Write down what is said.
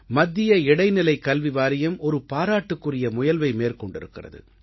மத்திய இடைநிலைக்கல்வி வாரியம் ஒரு பாராட்டுக்குரிய முயல்வை மேற்கொண்டிருக்கிறது